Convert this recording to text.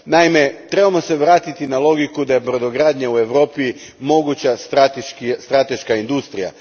Naime, trebamo se vratiti na logiku da je brodogradnja u Europi moguća strateška industrija.